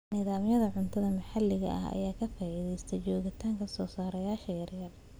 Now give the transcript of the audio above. Nidaamyada cuntada maxalliga ah ayaa ka faa'iideysta joogitaanka soosaarayaasha yaryar.